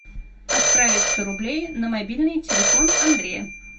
отправить сто рублей на мобильный телефон андрея